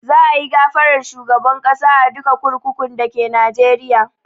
Za a yi gafarar shugaban ƙasa a duka kurkukun dake Najeriya